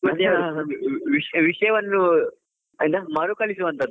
ಮತ್ತೆ ವಿಷಯವನ್ನು ಎಂಥ ಮರುಕಳಿಸುವಂಥದ್ದು.